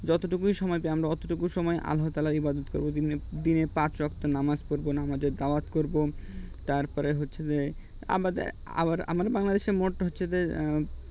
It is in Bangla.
যতটুকু সময় পাই আমরা অতটুকুই সময় আমরা আল্লাহ তায়ালার এবাদত করব দিনে পাঁচ ওয়াক্ত নামক নামাজ পড়বো নামাজের দাওয়াত করবো তারপরে হচ্ছে যে আমার বাংলাদেশের মোট হচ্ছে যে